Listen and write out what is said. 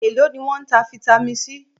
Èló ni wọ́n ń ta Vitamin C?